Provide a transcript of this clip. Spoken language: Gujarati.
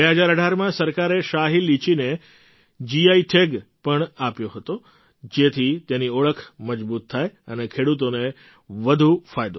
૨૦૧૮માં સરકારે શાહી લીચીને જીઆઈ ટૅગ પણ આપ્યો હતો જેથી તેની ઓળખ મજબૂત થાય અને ખેડૂતોને વધુ ફાયદો થાય